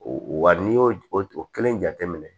Wa n'i y'o o o kelen jateminɛ